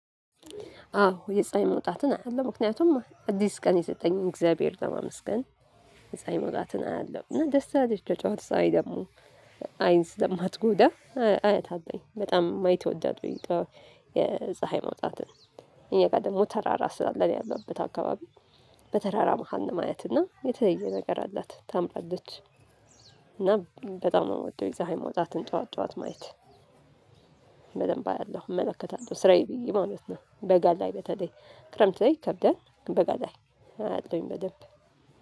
አዎ የፀሀይ መውጣትን አያለሁ ምክንያቱም አዲስ ቀን የሰጠኝን እግዚአብሔር ለማመስገን። የፀሀይ መውጣትን አያለሁ እና ደስ ትላለች የጠዋት ፀሀይ ደግሞ አይን ስለማትጎዳ አያታለሁኝ በጣም ማየት እወዳለሁኝ። የፀሀይ መውጣትን እኔ ጋር ደግሞ ተራራ ስላለ እኔ ያለሁበት አካባቢ በተራራ መሃል ነው ማያት እና የተለየ ነገር አላት ታምራለች። እና በጣም ነው የምወደው የፀሀይ መውጣትን ጠዋት ጠዋት ማየት በደንብ አያለሁ እመለከታለሁ ስራዬ ብዬ ማለት ነው። በጋ ላይ በተለይ ክረምት ላይ ይከብዳል በጋ ላይ አያለሁኝ በደንብ